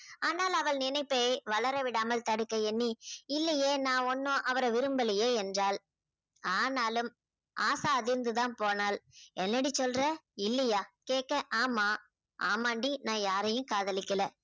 ஆனால் அவள் நினைப்பை வளரவிடாமல் தடுக்க எண்ணி இல்லையே நான் ஒண்ணும் அவரை விரும்பலையே என்றாள். ஆனாலும் ஆசா அதிர்ந்து தான் போனாள். என்னடி சொல்ற இல்லையா கேக்க, ஆமா ஆமாண்டி நான் யாரையும் காதலிக்கலை